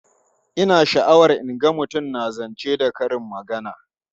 Ina sha'awar in ga mutum na zance da karin magana.